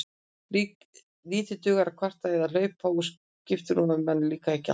Lítið dugði að kvarta eða hlaupa úr skiprúmi ef manni líkaði ekki allt.